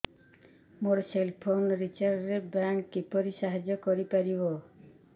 ମୋ cell phone recharge ରେ bank କିପରି ସାହାଯ୍ୟ କରିପାରିବ